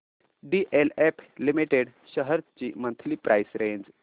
DLF limited shares ची monthly price range